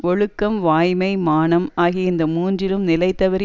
ஒழுக்கம் வாய்மை மானம் ஆகிய இந்த மூன்றிலும் நிலைதவறி